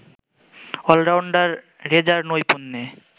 allrounder রেজার নৈপুণ্যে